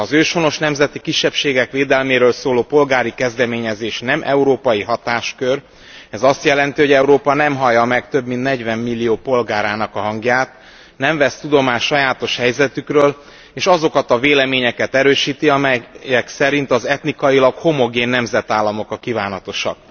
Ha az őshonos nemzeti kisebbségek védelméről szóló polgári kezdeményezés nem európai hatáskör, ez azt jelenti, hogy Európa nem hallja meg több mint 40 millió polgárának a hangját, nem vesz tudomást sajátos helyzetükről, és azokat a véleményeket erősíti, amelyek szerint az etnikailag homogén nemzetállamok a kívánatosak.